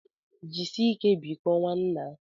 Jisie ike biko nwannaa.